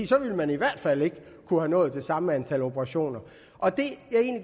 så ville man i hvert fald ikke have kunnet nå det samme antal operationer